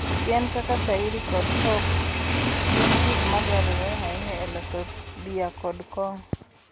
Yien kaka shayiri kod hop gin gik ma dwarore ahinya e loso bia kod kong'o.